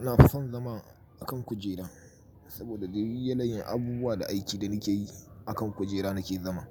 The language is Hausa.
Ina fason zama a kan kujera, saboda dai yanayin abubuwa da aiki da nake yi a kan kujera nake zama.